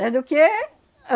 Éh, do quê?